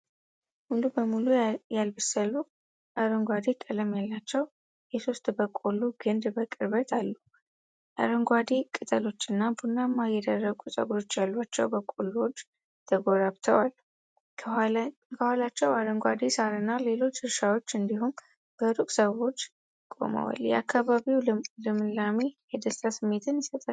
ሙሉ በሙሉ ያላበሰሉ፣ አረንጓዴ ቀለም ያላቸው የሶስት በቆሎ ግንድ በቅርበት አሉ። አረንጓዴ ቅጠሎችና ቡናማ የደረቁ ፀጉሮች ያሏቸው በቆሎዎች ተጎራብተዋል። ከኋላቸው አረንጓዴ ሳርና ሌሎች እርሻዎች እንዲሁም በሩቅ ሰዎች ቆመዋል፤ የአካባቢው ልምላሜ የደስታ ስሜትን ይሰጣል።